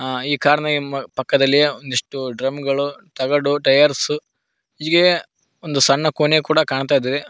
ಆ ಈ ಕಾರ್ ನ ಹಿಂ ಪಕ್ಕದಲ್ಲಿಯೇ ಒಂದಿಷ್ಟು ಡ್ರಮ್ ಗಳು ತಗಡು ಟೈಯರ್ಸ್ ಹೀಗೆ ಒಂದು ಸಣ್ಣ ಕೋಣೆ ಕೂಡ ಕಾಣ್ತಾ ಇದೆ.